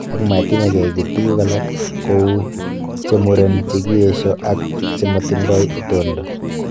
Ak matimaken kiy tugul alak, ko u chemuren, chekiyesho ak chemotindo itondo.